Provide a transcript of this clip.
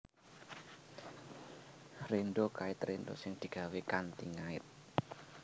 Rénda kait rénda sing digawé kanthi ngait